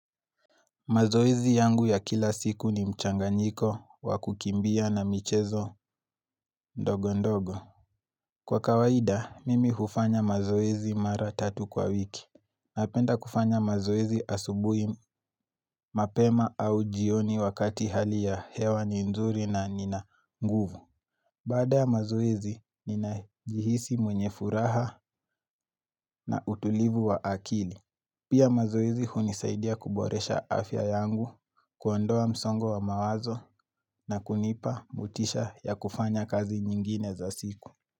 Mazoezi yangu ya kila siku ni mchanganyiko wa kukimbia na michezo ndogo ndogo. Kwa kawaida, mimi hufanya mazoezi mara tatu kwa wiki. Napenda kufanya mazoezi asubui mapema au jioni wakati hali ya hewa ni nzuri na nina nguvu. Baada ya mazoezi, ninajihisi mwenye furaha na utulivu wa akili. Pia mazoezi hunisaidia kuboresha afya yangu kuondoa msongo wa mawazo na kunipa motisha ya kufanya kazi nyingine za siku.